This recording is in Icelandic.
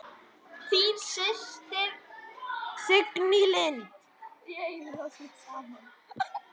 Þín systir, Signý Lind.